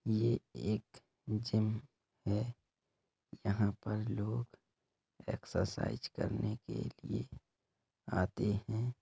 ये एक जिम है। यहाँ पर लोग एक्सरसाइज करने के लिए आते हैं।